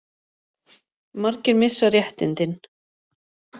Margir missa réttindin